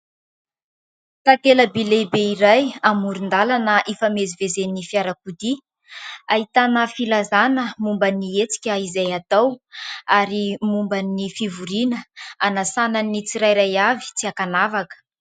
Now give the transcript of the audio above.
Takela-by lehibe iray amoron-dalana ifamezivezen'ny fiarakodia, ahitana filazana momba ny hetsika izay hatao ary momba ny fivoriana hanasana ny tsirairay avy tsy ankanavaka.